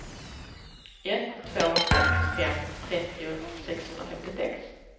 ett två sex fem trettio sexhundrafemtiosex